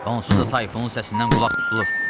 "Onsuz da tayfunun səsindən qulaq tutulur.